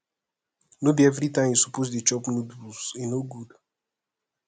no be everytime you suppose dey chop noodles e no good